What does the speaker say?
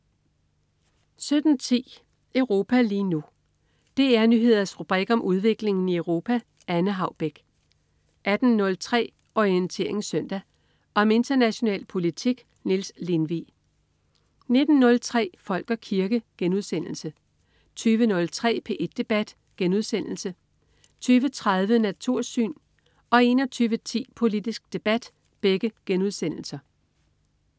17.10 Europa lige nu. DR Nyheders rubrik om udviklingen i Europa. Anne Haubek 18.03 Orientering Søndag. Om international politik. Niels Lindvig 19.03 Folk og kirke* 20.03 P1 debat* 20.30 Natursyn* 21.10 Politisk Debat*